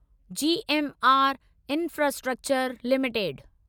GMR infrastructure limited